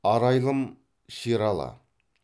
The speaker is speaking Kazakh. арайлым шералы